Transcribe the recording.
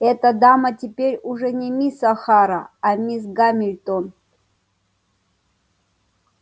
эта дама теперь уже не мисс охара а мисс гамильтон